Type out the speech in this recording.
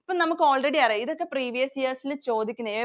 ഇപ്പം നമ്മക്ക് already അറിയാം. ഇതൊക്കെ previous years ഇല്‍ ചോദിക്കുന്നയാ.